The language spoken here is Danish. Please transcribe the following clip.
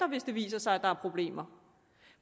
hvis det viser sig at der er problemer